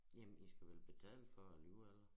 Jamen i skulle vel betale for det alligevel